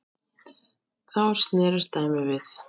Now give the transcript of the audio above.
Þá snerist dæmið við.